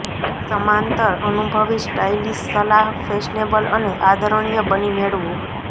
સમાંતર અનુભવી સ્ટાઈલિશ સલાહ ફેશનેબલ અને આદરણીય બની મેળવો